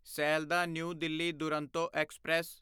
Sealdah new Delhi Duronto express